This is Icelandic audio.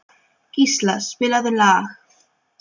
Gísla, spilaðu lag.